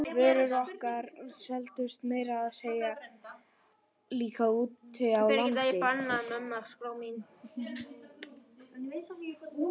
Vörurnar okkar seldust meira að segja líka úti á landi.